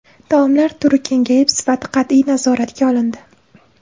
Taomlar turi kengayib, sifati qat’iy nazoratga olindi.